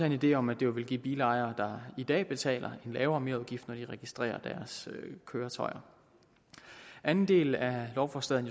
en idé om at det vil give bilejere i dag betaler en lavere merudgift når de registrerer deres køretøjer anden del af lovforslaget